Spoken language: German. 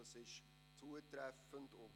Das trifft zu.